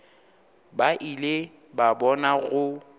ba ile ba bona go